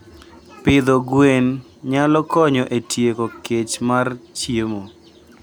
Pidho gwen nyalo konyo e tieko kech mar chiemo.